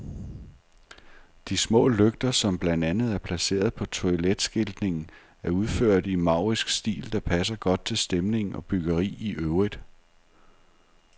De små lygter, som blandt andet er placeret på toiletskiltningen, er udført i en maurisk stil, der passer godt til stemning og byggeri i øvrigt.